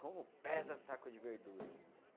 Como pesa saco de verdura, né?